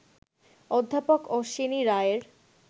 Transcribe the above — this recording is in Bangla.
অধ্যাপক অশ্বিনী রায়ের